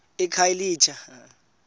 ekhayelitsha